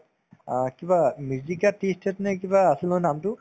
অ, কিবা mijika jan tea estate নে কিবা আছিল নহয় নামটো